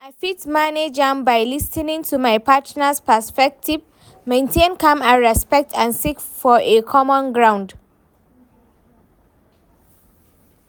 I fit manage am by lis ten ing to my partner's perspective, maintain calm and respect, and seek for a common ground.